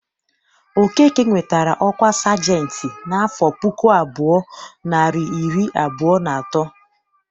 Okeke nwetara ọkwa sajentị n'afọ puku abụọ, narị iri abụọ na atọ.